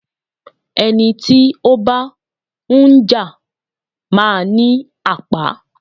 Ẹni tí ó bá ń jà má ní àpá.